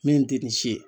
Min tɛ nin si ye